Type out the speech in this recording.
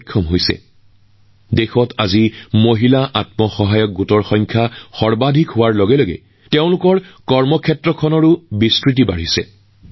আজি দেশত মহিলা আত্মসহায়ক গোটৰ সংখ্যাও বৃদ্ধি পাইছে আৰু তেওঁলোকৰ কামৰ পৰিসৰো বহু পৰিমাণে বৃদ্ধি পাইছে